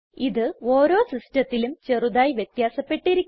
ഇത് ഓരോ സിസ്റ്റത്തിലും ചെറുതായി വ്യത്യാസപ്പെട്ടിരിക്കും